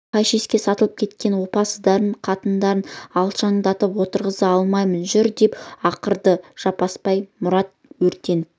мен пәшеске сатылып кеткен опасыздардың қатындарын алшаңдатып отырғыза алмаймын жүр деп ақырды жаппасбай мұрат өртеніп